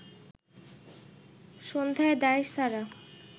সন্ধ্যায় দায়সারা